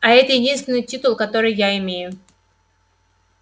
а это единственный титул который я имею